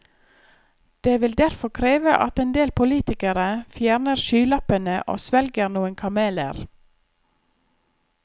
Det vil derfor kreve at en del politikere fjerner skylappene og svelger noen kameler.